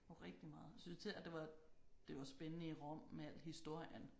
Jo rigtig meget jeg synes især det var det var spændende i Rom med al historien